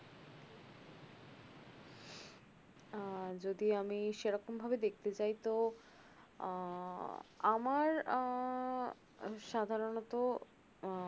আহ যদি আমি সেরকম ভাবে দেখতে চাই তো আহ আমার আহ সাধারনত আহ